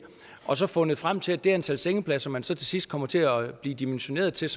og så fundet frem til at det antal sengepladser man til sidst kommer til at blive dimensioneret til